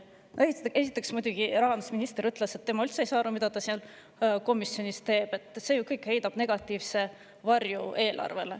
Esiteks, muidugi rahandusminister ütles, et tema ei saa üldse aru, mida ta seal komisjoni istungil teeb, sest see kõik heidab ju eelarvele negatiivset varju.